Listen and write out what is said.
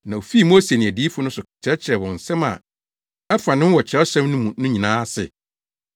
Na ofii Mose ne adiyifo no so kyerɛkyerɛɛ wɔn nsɛm a ɛfa ne ho wɔ Kyerɛwsɛm no mu no nyinaa ase.